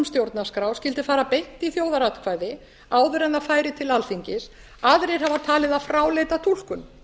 stjórnarskrá skyldi fara beint í þjóðaratkvæði áður en það færi til alþingis aðrir hafa talið það fráleita túlkun